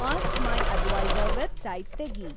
ask my adviser website ತೆಗಿ